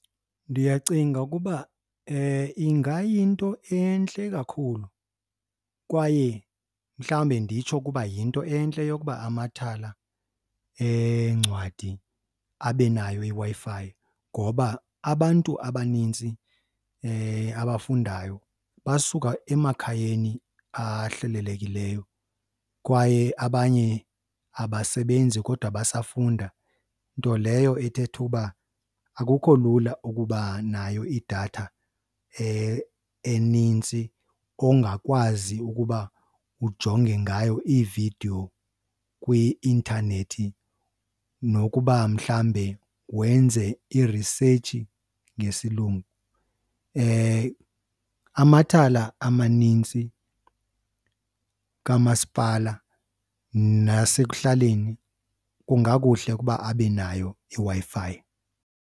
Ndiyacinga ukuba ingayinto entle kakhulu kwaye mhlawumbi nditsho ukuba yinto entle yokuba amathala eencwadi abe nayo iWi-Fi ngoba abantu abanintsi abafundayo basuka emakhayeni ahlelelekileyo kwaye abanye abasebenzi kodwa basafunda. Nto leyo ethetha uba akukho lula ukuba nayo idatha enintsi ongakwazi ukuba ujonge ngayo iividiyo kwi-intanethi nokuba mhlawumbe wenze irisetshi ngesilungu. Amathala amanintsi kamasipala nasekuhlaleni kungakuhle ukuba abe nayo iWi-Fi.